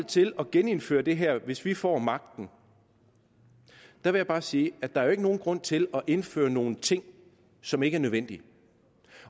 til at genindføre det her hvis vi får magten vil jeg bare sige at der jo ikke er nogen grund til at indføre nogle ting som ikke er nødvendige